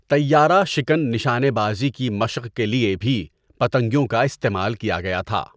طَیّارَہ شکن نشانے بازی کی مشق کے لیے بھی پتنگیوں کا استعمال کیا گیا تھا۔